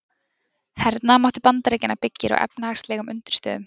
Hernaðarmáttur Bandaríkjanna byggir á efnahagslegum undirstöðum.